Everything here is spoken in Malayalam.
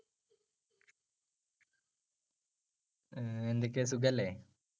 ഉം എന്തൊക്കെയാ സുഖല്ലേ?